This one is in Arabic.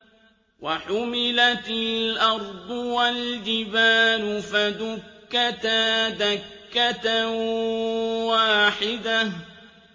وَحُمِلَتِ الْأَرْضُ وَالْجِبَالُ فَدُكَّتَا دَكَّةً وَاحِدَةً